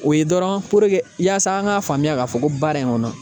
O ye dɔrɔn yasa an ka faamuya k'a fɔ ko baara in kɔnɔ